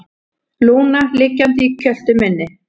Lúna liggjandi í kjöltu minni.